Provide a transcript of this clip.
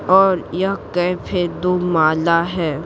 और यह कैफेतो माला है।